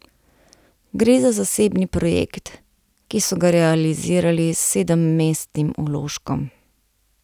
Gre za zasebni projekt, ki so ga realizirali s sedemmestnim vložkom.